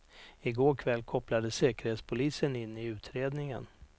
I går kväll kopplades säkerhetspolisen in i utredningen.